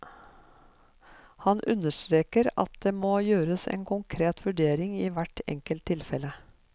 Han understreker at det må gjøres en konkret vurdering i hvert enkelt tilfelle.